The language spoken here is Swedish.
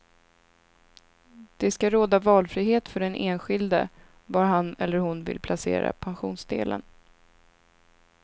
Det skall råda valfrihet för den enskilde var han eller hon vill placera pensionsdelen.